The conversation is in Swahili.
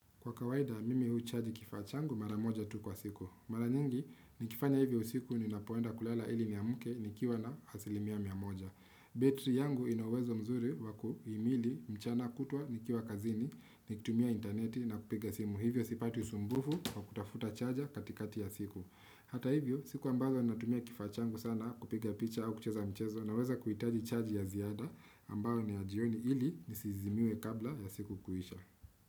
Kwa kawaida mimi huchaji kifaa changu mara moja tu kwa siku mara nyingi nikifanya hivyo usiku ninapoenda kulala ili niamke nikiwa na asilimia mia moja. Betri yangu inauwezo mzuri wakuimili mchana kutwa nikiwa kazini nikitumia interneti na kupiga simu hivyo sipati usumbufu wa kutafuta chaja katikati ya siku hata hivyo siku ambayo natumia kifaa changu sana kupiga picha au kucheza mchezo naweza kuhitaji chaji ya ziada ambayo ni ya jioni hili nisizimiwe kabla ya siku kuisha.